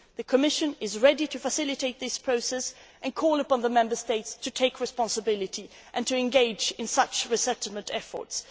The Commission is ready to facilitate this process and calls upon the Member States to take responsibility and to engage in such resettlement efforts.